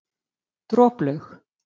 Droplaug